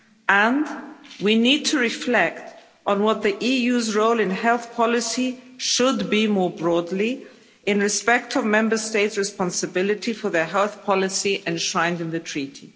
And we need to reflect on what the EU's role in health policy should be more broadly, in respect of Member States' responsibility for their health policy enshrined in the Treaty.